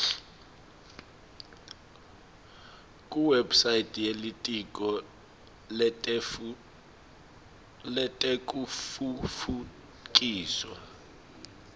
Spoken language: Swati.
kuwebsite yelitiko letekutfutfukiswa